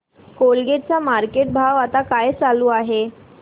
Colgate चा market भाव आता काय चालू आहे